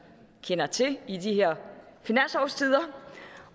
kender til i de her finanslovstider